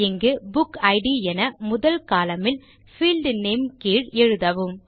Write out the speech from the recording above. இங்கு புக்கிட் என முதல் கோலம்ன் யில் பீல்ட் நேம் கீழ் எழுதவும்